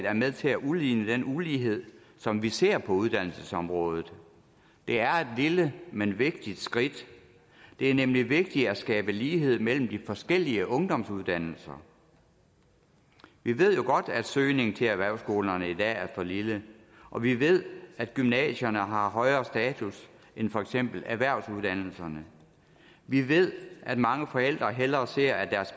er med til at udligne den ulighed som vi ser på uddannelsesområdet det er et lille men vigtigt skridt det er nemlig vigtigt at skabe lighed mellem de forskellige ungdomsuddannelser vi ved jo godt at søgningen til erhvervsskolerne i dag er for lille og vi ved at gymnasierne har højere status end for eksempel erhvervsuddannelserne vi ved at mange forældre hellere ser at